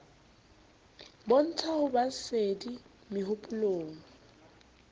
bontsha ho ba sedi mehopolong